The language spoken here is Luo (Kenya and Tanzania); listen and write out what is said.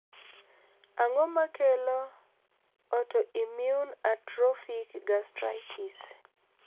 Ang`o makelo autoimmune atrophic gastritis?